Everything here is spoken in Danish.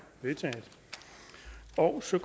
også